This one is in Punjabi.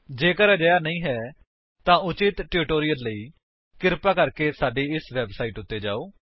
ਜੇਕਰ ਅਜਿਹਾ ਨਹੀਂ ਹੈ ਤਾਂ ਉਚਿਤ ਟਿਊਟੋਰਿਅਲ ਲਈ ਕ੍ਰਿਪਾ ਸਾਡੀ ਇਸ ਵੇਬਸਾਈਟ ਉੱਤੇ ਜਾਓ